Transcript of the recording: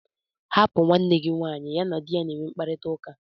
Hapụ nwanne gị nwanyị, ya na di ya na-enwe mkparịtaụka!!